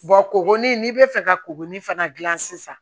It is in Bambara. kugunin n'i bɛ fɛ ka kurunin fana dilan sisan